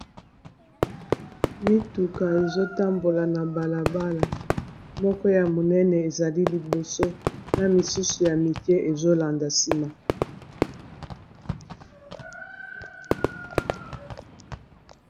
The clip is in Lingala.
Mituka ezo tambola na balabala. Moko ya monene, ezali liboso. Na misusu ya mikie ezolanda nsima.